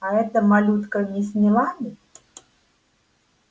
а эта малютка мисс мелани